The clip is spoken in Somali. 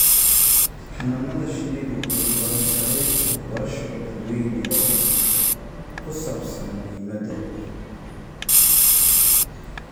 Xannaanada shinnidu waxay u baahan tahay waxbarasho dadweyne oo ku saabsan muhiimadda.